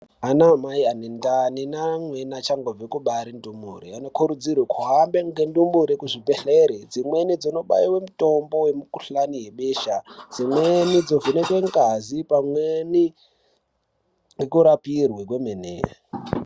Ana Mai ane ndiani nemamweni achangobve kubare ndumre anokurudzirwe kuhamba ngendimure kuzvibhedhlera dzimweni dzonobaiww mitombo yemukuhlani webesha , dzimweni dzovhekwe ngazi pamweni nekurapirwe kwemene.